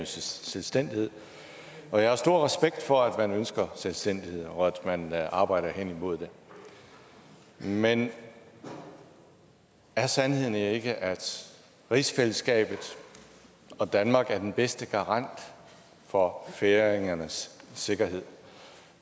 selvstændighed og jeg har stor respekt for at man ønsker selvstændighed og at man arbejder hen imod det men er sandheden ikke at rigsfællesskabet og danmark er den bedste garant for færingernes sikkerhed